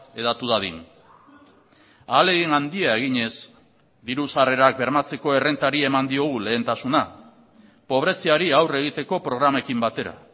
hedatu dadin ahalegin handia eginez diru sarrerak bermatzeko errentari eman diogu lehentasuna pobreziari aurre egiteko programekin batera